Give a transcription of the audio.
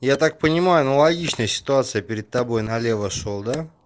я так понимаю аналогичная ситуация перед тобой на лево шёл да